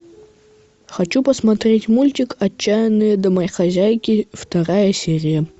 хочу посмотреть мультик отчаянные домохозяйки вторая серия